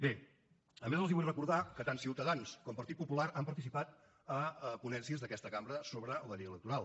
bé a més els vull recordar que tant ciutadans com partit popular han participat a ponències d’aquesta cambra sobre la llei electoral